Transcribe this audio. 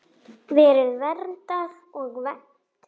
Lalli elti Jóa inn.